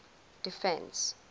defence